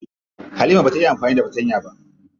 Halima bata iya amfani da fatanya ba.